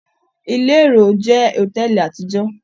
Ile èrò jẹ́ hotẹẹli àtijọ.